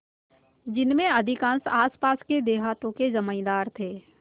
जिनमें अधिकांश आसपास के देहातों के जमींदार थे